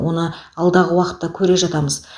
оны алдағы уақытта көре жатамыз